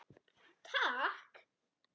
Takk